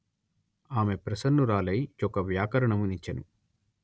ఆమె ప్రసన్నురాలై యొక వ్యాకరణము నిచ్చెను